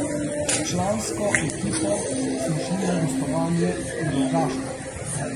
S člansko ekipo smo šli na gostovanje v Rogaško.